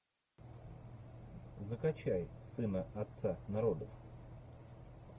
закачай сына отца народов